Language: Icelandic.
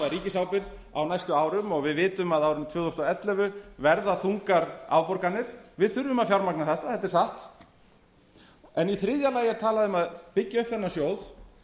ríkisábyrgð á næstu árum og við vitum að á árinu tvö þúsund og ellefu verða þungar afborganir við þurfum að fjármagna þetta þetta er satt en í þriðja lagi er talað um að byggja upp þennan sjóð